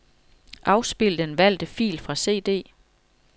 Afspil den valgte fil fra cd.